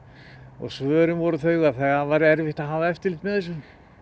og svörin voru þau að það væri erfitt að hafa eftirlit með þessu